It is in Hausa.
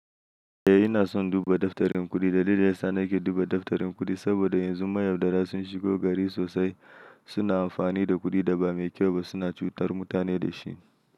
Eh, ina son duba daftarin kuɗi. Dalilin da yasa nake duba daftarin kuɗi saboda yanzu mayaudara sun shigo gari sosai. Suna amfani da kuɗi da ba mai kyau ba, suna cutar mutane da shi.